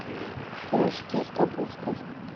пирожки с капустой